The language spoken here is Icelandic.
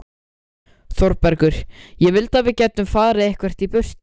ÞÓRBERGUR: Ég vildi að við gætum farið eitthvert í burtu.